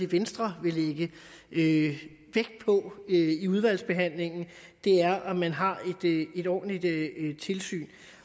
venstre vil lægge vægt på i i udvalgsbehandlingen er at man har et ordentligt tilsyn